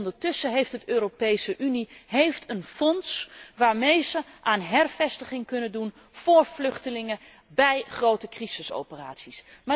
Ondertussen heeft de Europese Unie een fonds waarmee zij aan hervestiging kunnen doen voor vluchtelingen bij grote crisisoperaties.